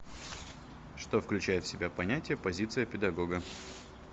что включает в себя понятие позиция педагога